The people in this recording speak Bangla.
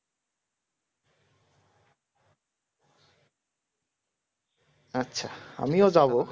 আচ্ছা আমিও যাব